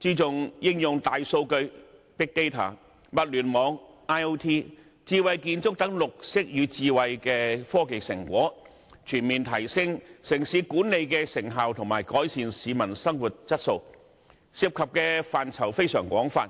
注重應用大數據、物聯網、智慧建築等綠色與智慧的科技成果，全面提升城市管理的成效及改善市民生活質素，涉及的範疇非常廣泛。